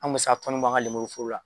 An kun be se ka bɔ an ka nenburu foro la.